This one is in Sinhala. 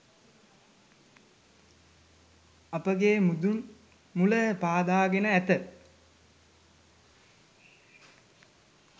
අපගේ මුදුන් මුල පාදාගෙන ඇත